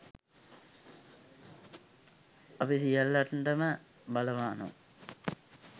අපි සියල්ලටම බලපානව.